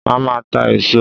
Màá máa ta èso